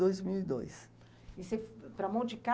dois mil e dois. E você, para Monte